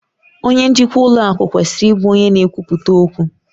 Onye njikwa ụlọ akụ kwesịrị ịbụ onye n'ekwuputa okwu